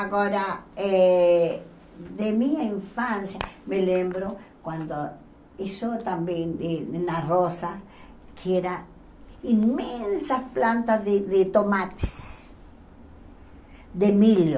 Agora, eh de minha infância, me lembro quando isso também e na Rosa, que eram imensas plantas de de tomates, de milho.